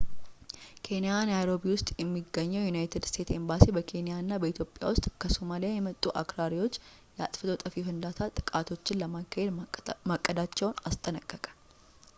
ኬንያ ናይሮቢ ውስጥ የሚገኘው የዩናይትድ ስቴትስ ኤምባሲ በኬንያ እና በኢትዮጵያ ውስጥ ከሶማሊያ የመጡ አክራሪዎች የአጥፍቶ ጠፊ ፍንዳታ ጥቃቶችን ለማካሄድ ማቀዳቸውን አስጠነቀቀ